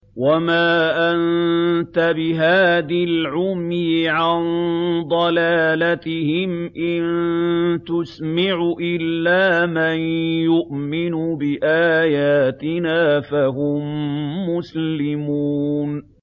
وَمَا أَنتَ بِهَادِي الْعُمْيِ عَن ضَلَالَتِهِمْ ۖ إِن تُسْمِعُ إِلَّا مَن يُؤْمِنُ بِآيَاتِنَا فَهُم مُّسْلِمُونَ